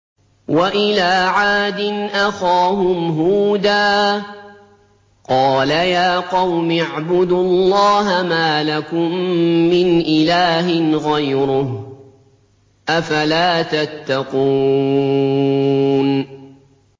۞ وَإِلَىٰ عَادٍ أَخَاهُمْ هُودًا ۗ قَالَ يَا قَوْمِ اعْبُدُوا اللَّهَ مَا لَكُم مِّنْ إِلَٰهٍ غَيْرُهُ ۚ أَفَلَا تَتَّقُونَ